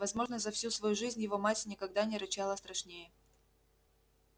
возможно за всю свою жизнь его мать никогда не рычала страшнее